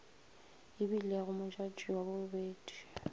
e bilego modjadji wa bobedi